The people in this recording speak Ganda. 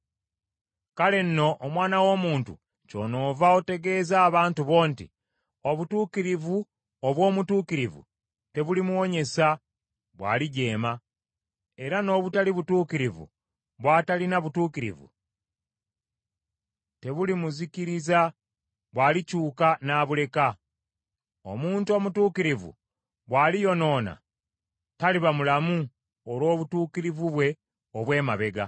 “Kale nno, omwana w’omuntu kyonoova otegeeza abantu bo nti, ‘Obutuukirivu obw’omutuukirivu tebulimuwonyesa bw’alijeema, era n’obutali butuukirivu bw’atalina butuukirivu tebulimuzikiriza bw’alikyuka n’abuleka. Omuntu omutuukirivu, bw’aliyonoona, taliba mulamu olw’obutuukirivu bwe obw’emabega.’